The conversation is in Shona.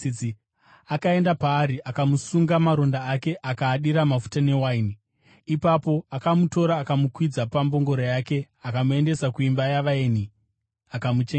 Akaenda paari akamusunga maronda ake, akaadira mafuta newaini. Ipapo akamutora akamukwidza pambongoro yake, akamuendesa kuimba yavaeni, akamuchengeta.